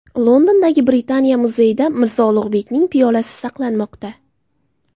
Londondagi Britaniya muzeyida Mirzo Ulug‘bekning piyolasi saqlanmoqda .